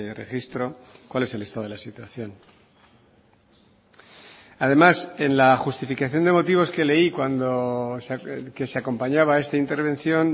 registro cuál es el estado de la situación además en la justificación de motivos que leí cuando que se acompañaba a esta intervención